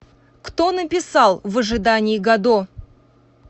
кто написал в ожидании годо